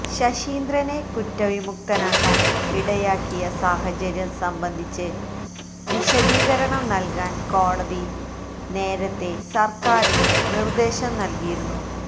ശശീന്ദ്രനെ കുറ്റ വിമുക്തനാക്കാൻ ഇടയാക്കിയ സാഹചര്യം സംബന്ധിച്ച് വിശദീകരണം നൽകാൻ കോടതി നേരത്തെ സർക്കാരിന് നിർദേശം നൽകിയിരുന്നു